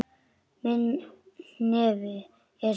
Minn hnefi er sannur.